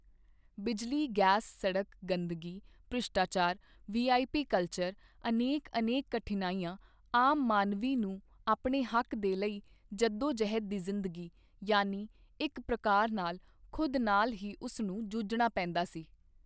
ਬਿਜਲੀ, ਗੈਸ, ਸੜਕ, ਗੰਦਗੀ, ਭ੍ਰਿਸ਼ਟਾਚਾਰ, ਵੀਆਈਪੀ ਕਲਚਰ, ਅਨੇਕ ਅਨੇਕ ਕਠਿਨਾਈਆਂ, ਆਮ ਮਾਨਵੀ ਨੂੰ ਆਪਣੇ ਹੱਕ ਦੇ ਲਈ ਜੱਦੋਜਹਿਦ ਦੀ ਜ਼ਿੰਦਗੀ, ਯਾਨੀ ਇੱਕ ਪ੍ਰਕਾਰ ਨਾਲ ਖੁਦ ਨਾਲ ਹੀ ਉਸ ਨੂੰ ਜੂਝਣਾ ਪੈਂਦਾ ਸੀ।